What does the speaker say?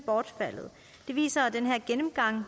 bortfaldet det viser den her gennemgang